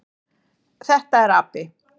Þetta er api.